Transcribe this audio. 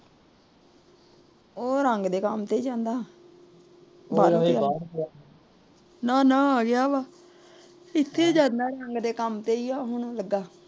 ਉਹ ਰੰਗ ਦੇ ਕੰਮ ਤੇ ਜਾਂਦਾ। ਨਾ ਨਾ ਵਿਆਹ ਦਾ ਇੱਥੇ ਕਰਨਾ ਹਜੇ ਕੰਮ ਤੇ ਈ ਹੁਣ ਲੱਗਾ।